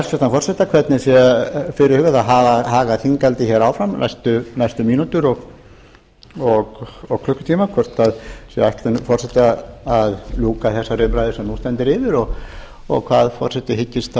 spyrja hæstvirtan forseta hvernig sé fyrirhugað að haga þinghaldi áfram næstu mínútur og klukkutíma hvort það er ætlun forseta að ljúka þessari umræðu sem en stendur yfir og hvað forseti hyggist þá